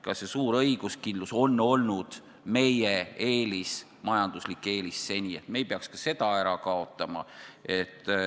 Ka see suur õiguskindlus on olnud seni meie eelis, majanduslik eelis, me ei peaks seda ära kaotama.